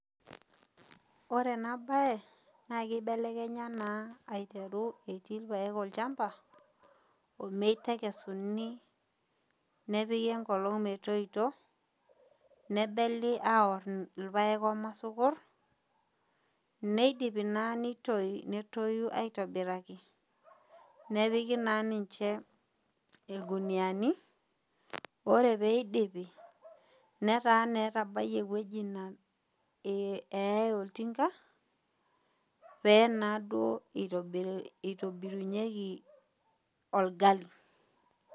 Ore enabae na kibelekenya na aiteru etii irpaek olchamba ometekesuni nepiki enkolong metoito nebeli aor irpaak omaisokon neidipi na netoi aitobiraki nepiki na ninche irguniani ore peidipi netaa etabayie ewoi na keyai oltinga pelo na aitobirunyeki orgali.